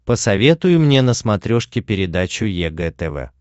посоветуй мне на смотрешке передачу егэ тв